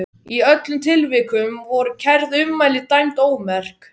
Í öllum tilvikum voru kærð ummæli dæmd ómerk.